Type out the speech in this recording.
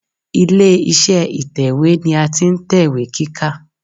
Ilé iṣẹ́ ìtẹ̀wẹ́ ni a ti ń tẹ̀wé kíkà.